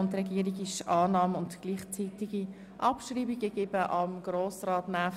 Die Regierung ist für Annahme und gleichzeitige Abschreibung dieses Vorstosses.